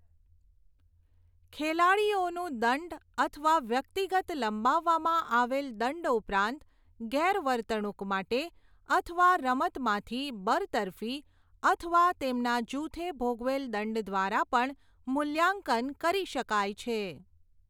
ખેલાડીઓનું દંડ અથવા વ્યક્તિગત લંબાવવામાં આવેલ દંડ ઉપરાંત ગેરવર્તણૂક માટે અથવા રમતમાંથી બરતરફી અથવા તેમના જુથે ભોગવેલ દંડ દ્વારા પણ મૂલ્યાંકન કરી શકાય છે.